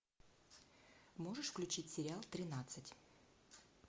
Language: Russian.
можешь включить сериал тринадцать